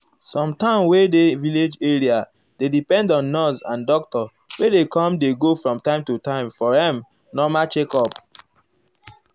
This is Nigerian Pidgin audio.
some town wey dey village area dey depend on nurse and doctor wey dey com dey go from time to time for erm normal checkup.